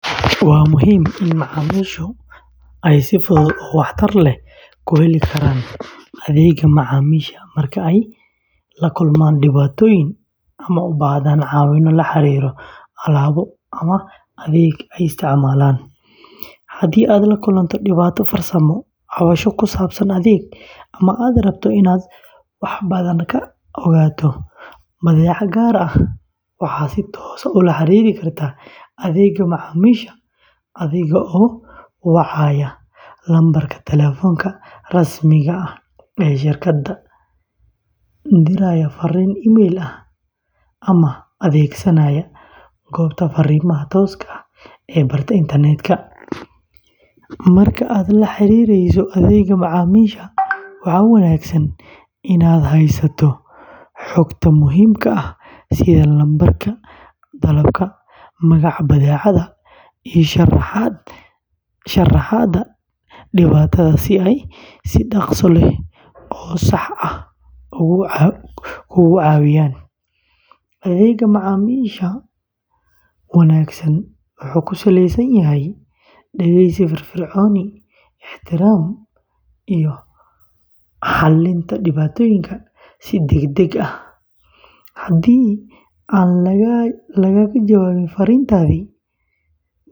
Waa muhiim in macaamiishu ay si fudud oo waxtar leh u heli karaan adeegga macaamiisha marka ay la kulmaan dhibaatooyin ama u baahdaan caawimo la xiriirta alaabo ama adeeg ay isticmaalaan. Haddii aad la kulanto dhibaato farsamo, cabasho ku saabsan adeeg, ama aad rabto inaad wax badan ka ogaato badeecad gaar ah, waxaad si toos ah ula xiriiri kartaa adeegga macaamiisha adiga oo wacaya lambarka taleefanka rasmiga ah ee shirkadda, diraya farriin emayl ah, ama adeegsanaya goobta fariimaha tooska ah ee barta internetka. Marka aad la xiriireyso adeegga macaamiisha, waxaa wanaagsan inaad haysato xogta muhiimka ah sida lambarka dalabka, magaca badeecadda, iyo sharaxaadda dhibaatada si ay si dhakhso leh oo sax ah kuugu caawiyaan. Adeegga macaamiisha wanaagsan wuxuu ku salaysan yahay dhegeysi firfircoon, ixtiraam, iyo xallinta dhibaatooyinka si degdeg ah. Haddii aan lagaaga jawaabin farriintaadii ugu horreysay.